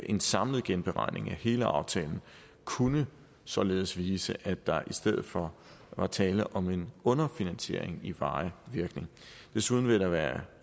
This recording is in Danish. en samlet genberegning af hele aftalen kunne således vise at der i stedet for var tale om en underfinansiering i varig virkning desuden vil det være